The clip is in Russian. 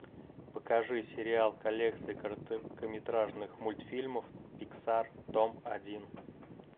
покажи сериал коллекция короткометражных мультфильмов пиксар том один